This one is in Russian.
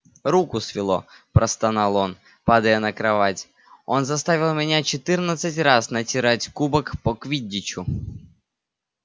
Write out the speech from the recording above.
руку свело простонал он падая на кровать он заставил меня четырнадцать раз натирать кубок по квиддичу